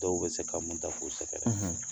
Dɔw bɛ se ka mun ta ko sɛgɛrɛ;